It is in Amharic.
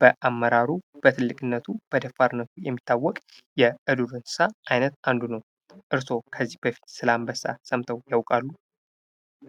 በአመራሩ በትልቅነቱ በደፋርነቱ የሚታወቅ የዱር እንሰሳ አይነት አንዱ ነው። እርስዎ ስለ አንበሳ ሰምተው ያውቃሉ?